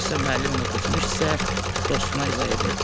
Dərsdə müəllimlə keçmişdisə, dostuna izah edirdi.